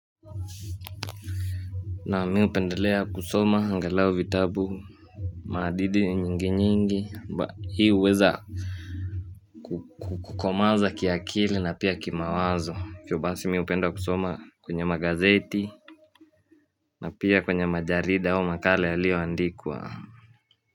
Naam mimi hupendelea kusoma angalau vitabu maadili nyingi nyingi mba hii huweza Kukomaa za kiakili na pia kimawazo hivyo basi mimi hupenda kusoma kwenye magazeti na pia kwenye majarida au makala yaliyoandikwa.